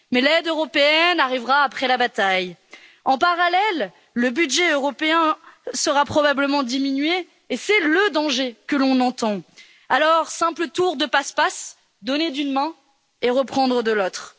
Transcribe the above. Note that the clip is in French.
Mais l'aide européenne arrivera après la bataille. En parallèle, le budget européen sera probablement diminué et c'est le danger que l'on entend. Alors, simple tour de passe passe, donner d'une main et reprendre de l'autre.